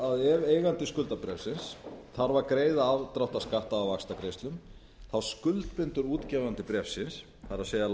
að ef eigandi skuldabréfsins þarf að greiða afdráttarskatta af vaxtagreiðslum þá skuldbindur útgefandi bréfsins það er